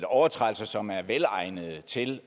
overtrædelser som er velegnede til